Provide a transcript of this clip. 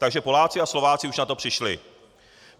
Takže Poláci a Slováci už na to přišli.